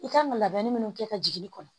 I kan ka labɛnni minnu kɛ ka jigin i kɔnɔ